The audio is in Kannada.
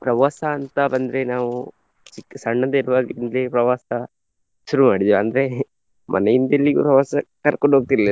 ಪ್ರವಾಸ ಅಂತ ಬಂದ್ರೆ ನಾವು ಚಿಕ್ಕ್ ಸಣ್ಣದಿರುವಾಂಗಿದ್ಲೆ ಪ್ರವಾಸ ಶುರು ಮಾಡಿದ್ದೇವೆ ಅಂದ್ರೆ ಮನೆಯಿಂದ ಎಲ್ಲಿ ಪ್ರವಾಸ ಕರ್ಕೊಂಡು ಹೋಗ್ತಿರ್ಲಿಲ್ಲ.